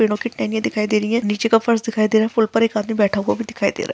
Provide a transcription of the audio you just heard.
पेड़ों की टेहनियाँ दिखाई दे रही हैं नीचे का फर्श दिखाई दे रहा है पुल पर एक आदमी बैठा हुआ भी दिखाई दे रहा है।